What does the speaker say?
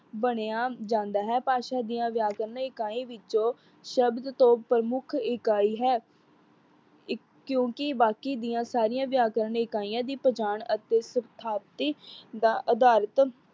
ਬਣਿਆ ਜਾਂਦਾ ਹੈ। ਭਾਸ਼ਾ ਦੀਆਂ ਵਿਆਕਰਨ ਇਕਾਈ ਵਿੱਚੋ ਸ਼ਬਦ ਤੋਂ ਪ੍ਰਮੁੱਖ ਇਕਾਈ ਹੈ। ਇ ਕਿਉਂਕਿ ਬਾਕੀ ਦੀਆਂ ਸਾਰੀਆਂ ਵਿਆਕਰਨ ਇਕਾਈਆ ਦੀਆ ਪਛਾਣ ਅਤੇ ਸਿਥਾਤੀ ਦਾ ਅਦਾਰਿਤ